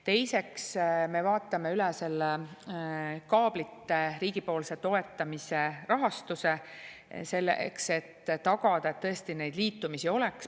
Teiseks, me vaatame üle kaablite riigipoolse toetamise rahastuse, selleks et tagada, et tõesti neid liitumisi oleks.